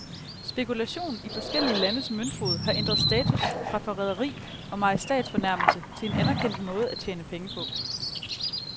Spekulation i forskellige landes møntfod har ændret status fra forræderi og majestætsfornærmelse til en anerkendt måde at tjene penge på.